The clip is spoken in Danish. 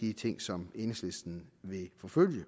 de ting som enhedslisten vil forfølge det